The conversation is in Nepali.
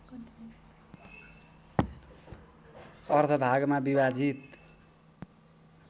अर्ध भागमा विभाजित